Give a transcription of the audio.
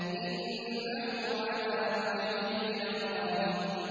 إِنَّهُ عَلَىٰ رَجْعِهِ لَقَادِرٌ